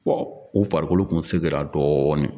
Fɔ u farikolo tun seginna dɔɔnin